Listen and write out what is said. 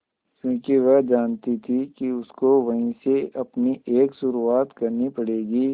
क्योंकि वह जानती थी कि उसको वहीं से अपनी एक शुरुआत करनी पड़ेगी